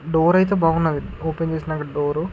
door అయితే బాగున్నవి open చేసినాక డోరు --